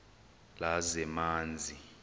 lezamanzi